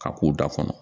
A k'o da kɔnɔ